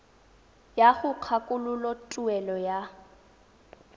ya go kgakololo tuelo ya